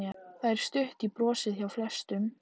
Það er stutt í brosið hjá flestum.